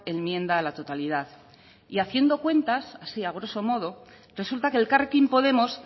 enmienda a la totalidad y haciendo cuentas así a groso modo resulta que elkarrekin podemos